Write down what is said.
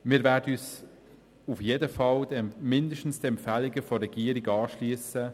Wir werden uns auf jeden Fall mindestens den Empfehlungen der Regierung anschliessen.